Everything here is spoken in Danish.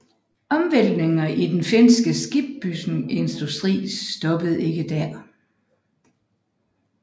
Omvæltningerne i den finske skibsbygningsindustri stoppede ikke der